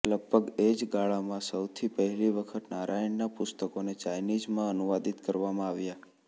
લગભગ એ જ ગાળામાં સૌથી પહેલી વખત નારાયણનાં પુસ્તકોને ચાઇનીઝમાં અનુવાદિત કરવામાં આવ્યાં